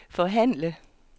forhandle